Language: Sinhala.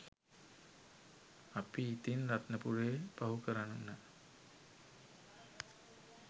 අපි ඉතින් රත්නපුරේ පහු කරන්න